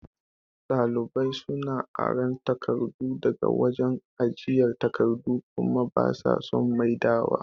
Ɗalibai suna aran takardu daga wajan ajiye takardu kuma basa son maidawa